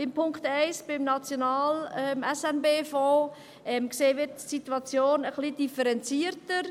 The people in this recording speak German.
– Beim Punkt 1 zum SNB-Fonds sehen wir die Situation etwas differenzierter.